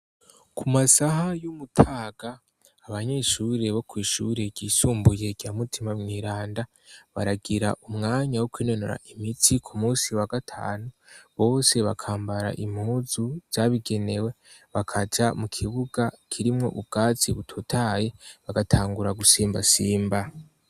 Ku masaha y'umutaga, abanyeshuri bo kw'ishure ryisumbuye rya Mutima Mweranda, baragira umwanya wo kwinonora imitsi ku munsi wa gatanu, bose bakambara impuzu zabigenewe, bakaja mu kibuga kirimwo ubwatsi butotahaye bagatangura gusimbasimba.